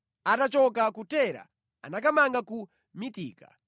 Atachoka ku Tera anakamanga ku Mitika.